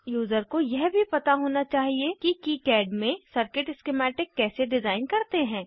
user को यह भी पता होना चाहिए कि किकाड में सर्किट स्किमैटिक कैसे डिज़ाइन करते हैं